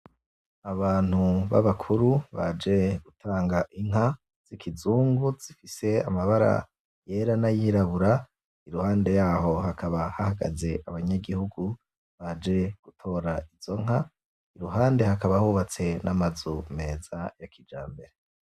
Abantu babakuru baje gutanga Inka z’ikizungu zifise amabara yera n’ayirabura iruhande yaho hakaba hahagaze abanyagihugu baje gutora izo nka , iruhande hakaba hubatse n'amazu meza ya kijambere .